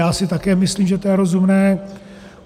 Já si také myslím, že to je rozumné.